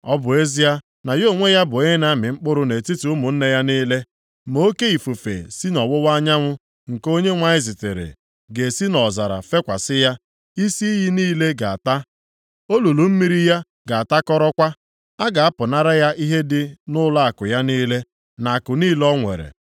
ọ bụ ezie na ya onwe ya bụ onye na-amị mkpụrụ nʼetiti ụmụnne ya niile. Ma oke ifufe si nʼọwụwa anyanwụ, nke Onyenwe anyị zitere, ga-esi nʼọzara fekwasị ya. Isi iyi niile ga-ata, olulu mmiri ya ga-atakọrọkwa. A ga-apụnara ya ihe dị nʼụlọakụ ya niile, na akụ niile o nwere.